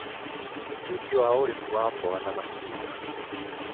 Umithio wa ũrĩmi wa mboga na matunda: